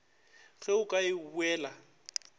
ge o ka e buela